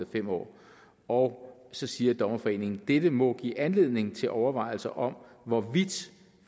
fem år og så siger dommerforeningen dette må give anledning til overvejelser om hvorvidt